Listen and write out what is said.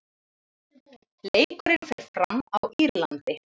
Leikurinn fer fram á Írlandi.